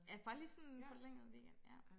Ja bare lige sådan forlænget weekend ja